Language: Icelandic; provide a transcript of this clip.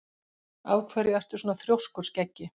Af hverju ertu svona þrjóskur, Skeggi?